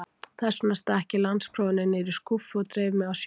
Þessvegna stakk ég landsprófinu niður í skúffu og dreif mig á sjóinn.